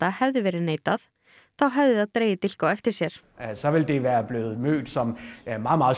hefði verið neitað hefði það dregið dilk á eftir sér